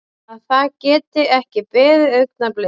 Að það geti ekki beðið augnablik.